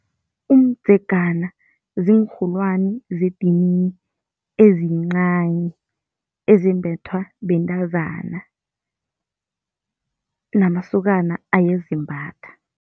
Umdzegana ziinrholwani zedinini, ezincani ezembethwa bentazana namasokana ayazimbatha.